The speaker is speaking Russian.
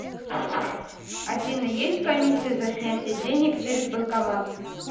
афина есть комиссия за снятие денег через банкомат